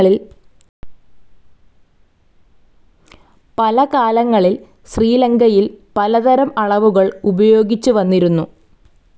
പല കാലങ്ങളിൽ ശ്രീലങ്കയിൽ പല തരം അളവുകൾ ഉപയോഗിച്ചുവന്നിരുന്നു.